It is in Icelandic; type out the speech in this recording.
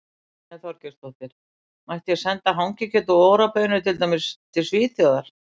Brynja Þorgeirsdóttir: Mætti ég senda hangikjöt og Ora baunir til, til dæmis Svíþjóðar?